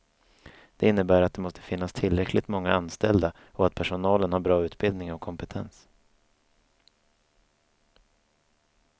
Det innebär att det måste finnas tillräckligt många anställda och att personalen har bra utbildning och kompetens.